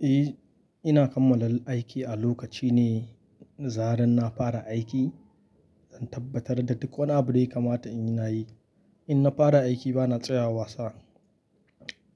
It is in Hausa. Eh, ina kammala aiki a lokaci ne. Zaran na fara aiki, zan tabbatar da duk wani abu dai kamata in yi na yi. In na fara aiki ba na tsaya wasa.